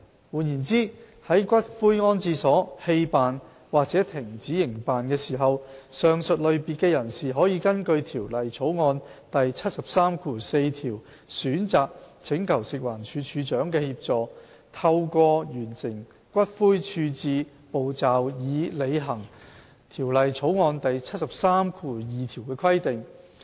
換言之，在骨灰安置所棄辦或停止營辦時，上述類別的人士可根據《條例草案》第734條選擇請求食環署署長的協助，透過完成骨灰處置步驟以履行《條例草案》第732條的規定。